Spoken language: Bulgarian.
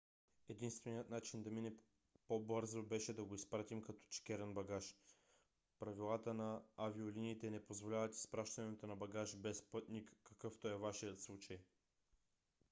единственият начин да мине по-бързо беше да го изпратим като чекиран багаж. правилата на авиолиниите не позволяват изпращането на багаж без пътник какъвто е вашият случай